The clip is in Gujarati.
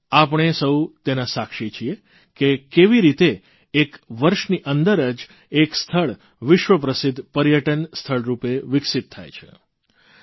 આપણે સૌ તેના સાક્ષી છીએ કે કેવી રીતે એક વર્ષની અંદર જ એક સ્થળ વિશ્વપ્રસિદ્ધ પર્યટન સ્થળરૂપે વિકસિત થાય છે